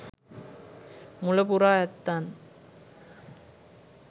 මුල පුරා ඇත්තන්